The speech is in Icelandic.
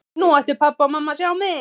Nú ættu pabbi og mamma að sjá mig!